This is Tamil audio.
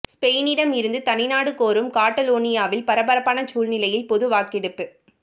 ஸ்பெயினிடம் இருந்து தனிநாடு கோரும் காட்டலோனியாவில் பரபரப்பான சூழ்நிலையில் பொது வாக்கெடுப்பு